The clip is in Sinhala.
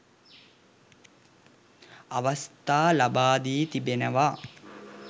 අවස්ථා ලබා දී තිබෙනවා